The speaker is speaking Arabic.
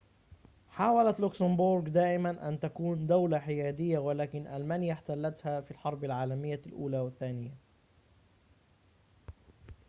حاولت لوكسمبورغ دائمًا أن تكون دولة حيادية ولكن ألمانيا احتلتها في الحرب العالمية الأولى والثانية